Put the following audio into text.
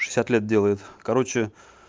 шестьдесят лет делает короче